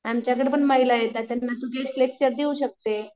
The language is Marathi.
आमच्याकडं पण महिला आहेत तू त्यांना गेस्ट लेक्चर देऊ शकते.